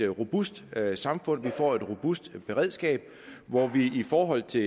robust samfund får et robust beredskab hvor der i forhold til